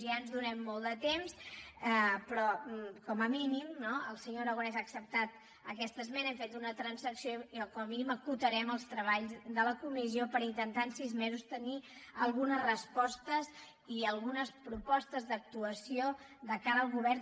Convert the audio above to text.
ja ens do·nem molt de temps però com a mínim no el senyor aragonès ha acceptat aquesta esmena hem fet una transacció i com a mínim acotarem els treballs de la comissió per intentar en sis mesos tenir algunes res·postes i algunes propostes d’actuació de cara al go·vern